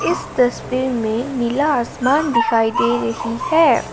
इस तस्वीर में नीला आसमान दिखाई दे रही है।